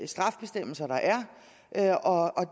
straffebestemmelser der er og